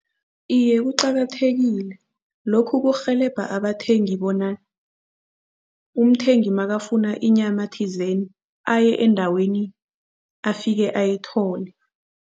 Iye, kuqakathekile lokhu kurhelebha abathengi bona umthengi makafuna inyama thizeni aye endaweni, afike ayithole.